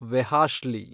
ವೆಹಾಶ್ಲಿ